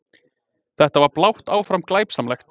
Þetta var blátt áfram glæpsamlegt!